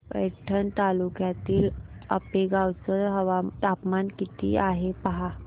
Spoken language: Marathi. पैठण तालुक्यातील आपेगाव चं तापमान किती आहे पहा